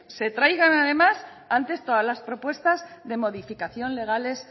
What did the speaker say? se traigan además antes todas las propuestas de modificación legales